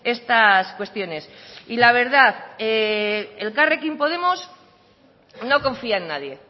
estas cuestiones y la verdad elkarrekin podemos no confía en nadie